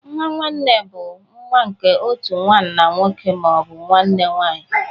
Nwa nwanne bụ nwa nke otu nwanna nwoke ma ọ bụ nwanne nwanyị